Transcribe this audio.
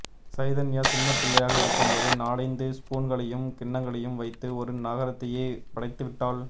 சைதன்யா சின்னப்பிள்ளையாக இருக்கும்போது நாலைந்து ஸ்பூன்களையும் கிண்ணங்களையும் வைத்து ஒரு நகரத்தையே படைத்துவிட்டாள்